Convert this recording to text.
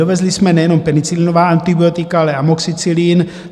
Dovezli jsme nejenom penicilinová antibiotika, ale amoxicilin.